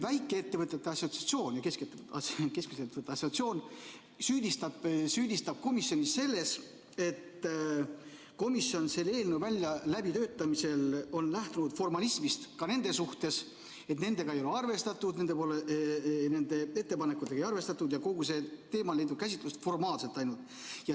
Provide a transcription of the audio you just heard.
Väikeettevõtete ja keskmiste ettevõtete assotsiatsioon süüdistab komisjoni selles, et komisjon on selle eelnõu väljatöötamisel lähtunud formalismist nende suhtes, nendega ei ole arvestatud, nende ettepanekutega ei ole arvestatud ja kogu see teema on leidnud käsitlust ainult formaalselt.